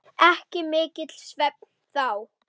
Ekki mikill svefn þá.